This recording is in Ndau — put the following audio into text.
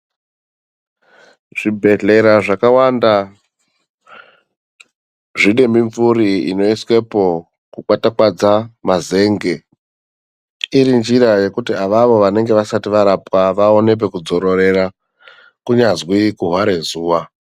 Zvibhedhlera zvakawanda zvine mimvuri inoiswepo kukwatakwadza mazenge iri njira yekuti avavo vanonge vasati varapwa vaone pekudzororera kunyazwi kuhware zuwa.